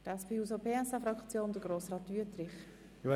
Für die SP-JUSO-PSA-Fraktion hat Grossrat Wüthrich das Wort.